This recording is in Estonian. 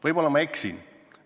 Võib-olla ma eksin.